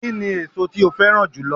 Kíni èso tí o féràn jùlo